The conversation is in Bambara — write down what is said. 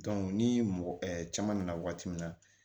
ni mɔgɔ caman nana wagati min na